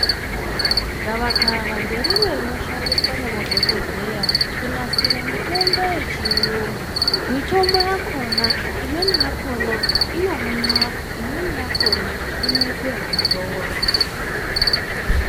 Gavakava nderimwe rinoshandiswa nemadhokodheya kunasira mitombo yechiyungu, mitombo yakona imweni yakona inomwiwa imweni yakona inoite ekudzorwa.